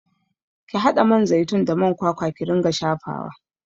Ki haɗa man zaitun da man kwakwa ki ringa shafawa!